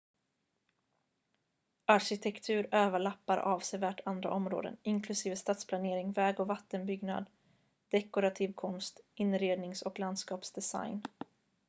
arkitektur överlappar avsevärt andra områden inklusive stadsplanering väg- och vattenbyggnad dekorativ konst inrednings- och landskapsdesign